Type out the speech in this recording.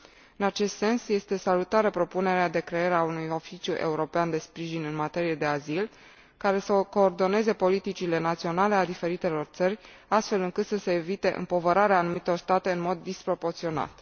În acest sens, este salutară propunerea de creare a unui Oficiu european de sprijin în materie de azil care să coordoneze politicile naționale ale diferitelor țări, astfel încât să se evite împovărarea anumitor state în mod disproporționat.